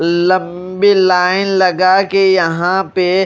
लंबी लाइन लगा के यहां पे--